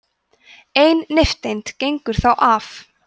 ein nifteind gengur þá af